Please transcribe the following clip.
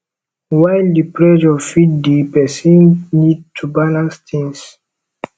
while di pressure fit dey person need to balance things